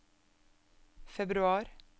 februar